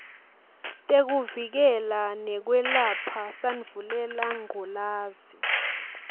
tekuvikela nekwelapha sandvulelangculazi